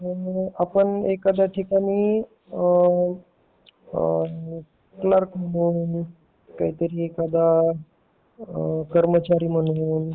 तर आपण एखाद्या ठिकाणी क्लर्क म्हणून काहीतरी एखादा कर्मचारी म्हणून